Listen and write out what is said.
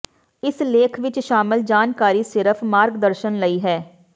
ਇਸ ਲੇਖ ਵਿੱਚ ਸ਼ਾਮਲ ਜਾਣਕਾਰੀ ਸਿਰਫ ਮਾਰਗਦਰਸ਼ਨ ਲਈ ਹੈ